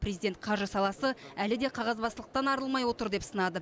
президент қаржы саласы әлі де қағазбастылықтан арылмай отыр деп сынады